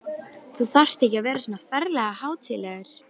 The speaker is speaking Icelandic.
Þú þarft ekki að vera svona ferlega hátíðlegur!